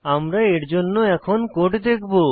আমরা এর জন্য এখন কোড দেখবো